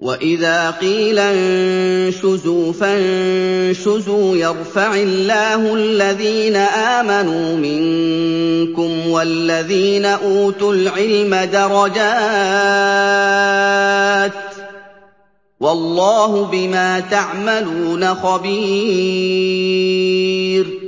وَإِذَا قِيلَ انشُزُوا فَانشُزُوا يَرْفَعِ اللَّهُ الَّذِينَ آمَنُوا مِنكُمْ وَالَّذِينَ أُوتُوا الْعِلْمَ دَرَجَاتٍ ۚ وَاللَّهُ بِمَا تَعْمَلُونَ خَبِيرٌ